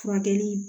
Furakɛli